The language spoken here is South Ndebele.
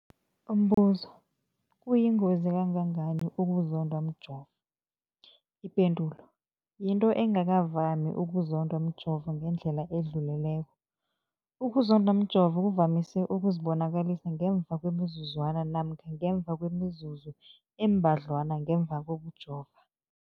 Umbuzo, kuyingozi kangangani ukuzondwa mjovo? Ipendulo, yinto engakavami ukuzondwa mjovo ngendlela edluleleko. Ukuzondwa mjovo kuvamise ukuzibonakalisa ngemva kwemizuzwana namkha ngemva kwemizuzu embadlwana ngemva kokujova.